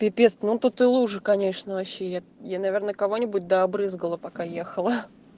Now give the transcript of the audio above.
пипец ну тут и лужа конечно вообще я я наверное кого-нибудь да обрызгала пока ехала